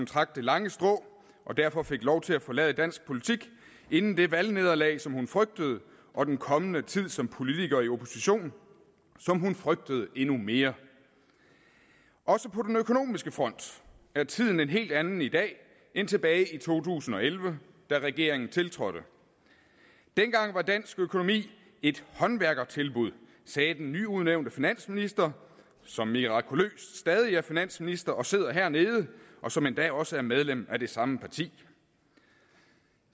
trak det lange strå og derfor fik lov til at forlade dansk politik inden det valgnederlag som hun frygtede og den kommende tid som politiker i opposition som hun frygtede endnu mere også på den økonomiske front er tiden en helt anden i dag end tilbage i to tusind og elleve da regeringen tiltrådte dengang var dansk økonomi et håndværkertilbud sagde den nyudnævnte finansminister som mirakuløst stadig er finansminister og sidder hernede og som endda også er medlem af det samme parti